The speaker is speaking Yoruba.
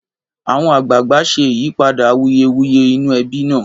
àwọn àgbààgbà ṣé ìyípadà awuyewuye inú ẹbi nà